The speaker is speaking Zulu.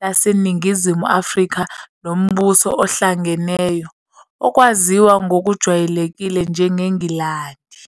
laseNingizimu Afrika noMbuso Ohlangeneyo, okwaziwa ngokujwayelekile njengeNgilandi.